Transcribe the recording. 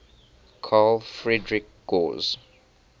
carl friedrich gauss